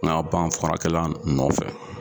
farakɛla nɔfɛ.